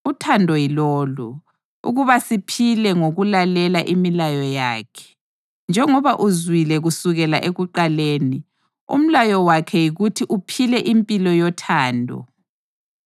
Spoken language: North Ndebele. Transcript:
Uthando yilolu: ukuba siphile ngokulalela imilayo yakhe. Njengoba uzwile kusukela ekuqaleni, umlayo wakhe yikuthi uphile impilo yothando.